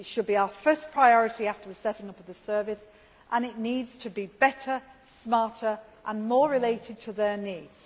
It should be our first priority after the setting up of the Service and it needs to be better, smarter and more related to their needs.